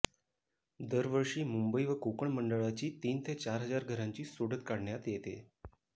दरवर्षी मुंबई व कोकण मंडळाची तीन ते चार हजार घरांची सोडत काढण्यात येते